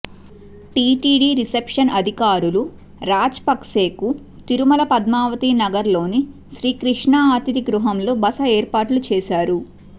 TTD reception అధికారులు రాజపక్సేకు తిరుమల పద్మావతి నగర్ లోని శ్రీ క్రిష్ణా అతిధిగృహంలో బస ఏర్పాట్లు చేశారు